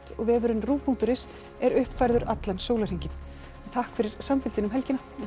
og vefurinn rúv punktur is er uppfærður allan sólarhringinn takk fyrir samfylgdina um helgina verið